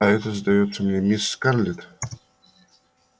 а это сдаётся мне мисс скарлетт